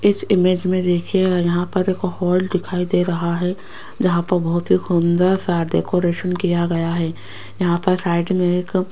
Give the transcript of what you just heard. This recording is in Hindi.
इस इमेज में देखिएगा यहां पर एक हाल दिखाई दे रहा है जहां पर बहुत ही सुंदर सा डेकोरेशन किया गया है यहां पे साइड में एक --